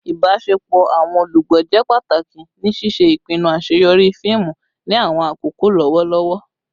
Ibaṣepọ awọn olugbo jẹ pataki ni ṣiṣe ipinnu aṣeyọri fiimu ni awọn akoko lọwọlọwọ